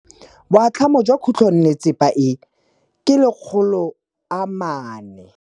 Boatlhamô jwa khutlonnetsepa e, ke 400.